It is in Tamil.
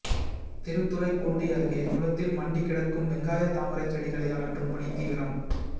திருத்துறைப்பூண்டி அருகே குளத்தில் மண்டி கிடக்கும் வெங்காய தாமரை செடிகளை அகற்றும் பணி தீவிரம்